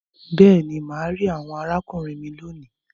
Béèni, má rí àwòn arákùnrin mí lóni.